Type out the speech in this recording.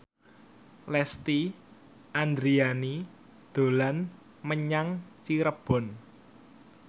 Lesti Andryani dolan menyang Cirebon